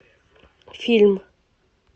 фильм